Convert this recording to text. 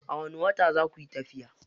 A wani wata zakuyi tafiya?